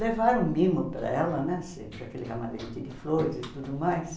Levaram mimo para ela né, sempre aquele ramalhete de flores e tudo mais.